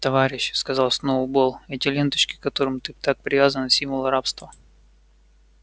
товарищ сказал сноуболл эти ленточки к которым ты так привязана символ рабства